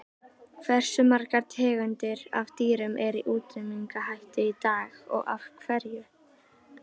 Hversu margar tegundir af dýrum eru í útrýmingarhættu í dag og af hverju?